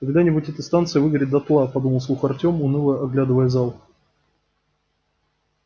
когда-нибудь эта станция выгорит дотла подумал вслух артём уныло оглядывая зал